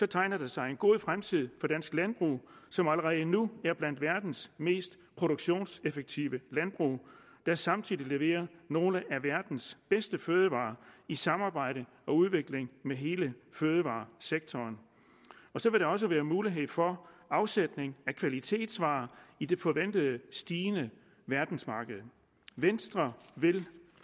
tegner der sig en god fremtid for dansk landbrug som allerede nu er blandt de af verdens mest produktionseffektive landbrug der samtidig leverer nogle af verdens bedste fødevarer i samarbejde om udvikling med hele fødevaresektoren så vil der også være mulighed for afsætning af kvalitetsvarer i det forventede stigende verdensmarked venstre vil